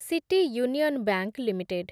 city union bank limited